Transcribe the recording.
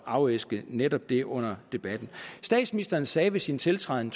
afæske netop det under debatten statsministeren sagde ved sin tiltræden